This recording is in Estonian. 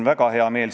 Härra juhataja!